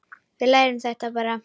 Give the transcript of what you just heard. Við lærum þetta bara.